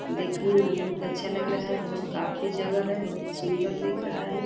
देखने में बहुत अच्छा लग रहा है। बहुत काफी जगह है। बहुत सूंदर दिख रहा है।